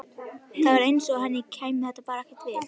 Það var eins og henni kæmi þetta bara ekkert við.